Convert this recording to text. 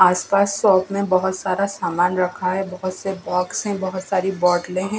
आसपास शॉप में बहोत सारा सामान रखा है बहोत से बॉक्स से बहोत सारी बाटलें हैं।